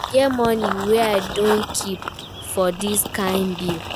E get money wey I don keep for dis kin bill